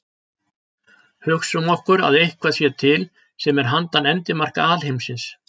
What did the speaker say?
Hugsum okkur að eitthvað sé til sem er handan endimarka alheimsins.